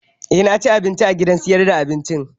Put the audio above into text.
Eh na ci abinci a gidan sayar da abincin